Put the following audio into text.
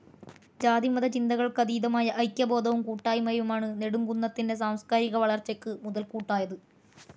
ജാതിമത ചിന്തകൾക്ക്‌ അതീതമായ ഐക്യബോധവും കൂട്ടായ്മയുമാണ്‌ നെടുംകുന്നത്തിൻ്റെ സാംസ്കാരിക വളർച്ചക്ക്‌ മുതൽകൂട്ടായത്‌.